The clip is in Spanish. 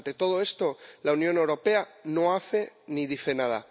Ante todo esto, la Unión Europea no hace ni dice nada.